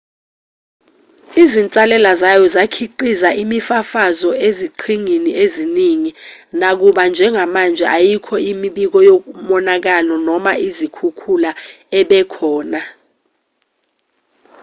izinsalela zayo zakhiqiza imifafazo eziqhingini eziningi nakuba njengamanje ayikho imibiko yomonakalo noma izikhukhula ebekhona